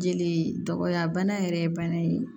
Jeli dɔgɔya bana yɛrɛ ye bana ye